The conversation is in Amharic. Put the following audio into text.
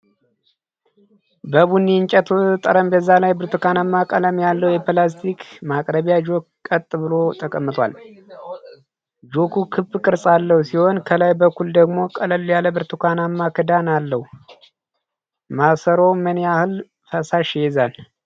በቡኒ የእንጨት ጠረጴዛ ላይ ብርቱካናማ ቀለም ያለው የፕላስቲክ ማቅረቢያ ጆክ ቀጥ ብሎ ተቀምጧል። ጆኩ ክብ ቅርጽ ያለው ሲሆን፣ ከላይ በኩል ደግሞ ቀለል ያለ ብርቱካናማ ክዳን አለው። ማሰሮው ምን ያህል ፈሳሽ ይይዛል?